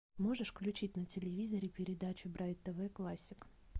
можешь включить на телевизоре передачу брайт тв классик